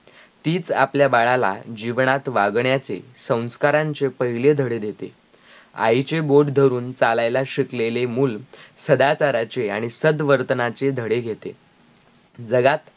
तीच आपल्या बाळाला जीवनात वागण्याचे संस्कारांचे पाहिले धडे देते आईचे बोट धरून चालायला शिकलेले मूल सदाचाराचे आणी सदवर्तनाचे धडे घेते जगात